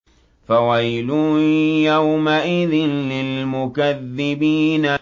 فَوَيْلٌ يَوْمَئِذٍ لِّلْمُكَذِّبِينَ